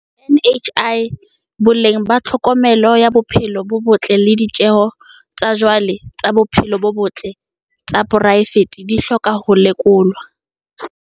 NHI, boleng ba tlhokomelo ya bophelo bo botle le ditjeho tsa jwale tsa bophelo bo botle tsa poraefete di hloka ho lekolwa.